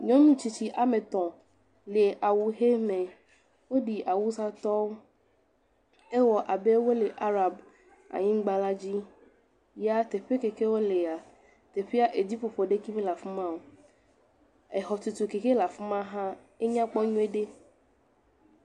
Nyɔnu tsitsi ame etɔ̃ le awu ʋe me. Woɖi Awusatɔwo. Ewɔ abe wole Arab anyigbala dzi. Ya teƒe ke ke wolea, teƒea eɖiƒoƒo aɖeke mele afi ma o. Exɔ ke he le afi maa, enya kpɔ nyuieɖe.